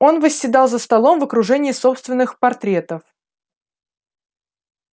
он восседал за столом в окружении собственных портретов